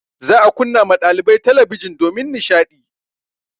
Za a kunna ma ɗalibai talabijin domin nishaɗi.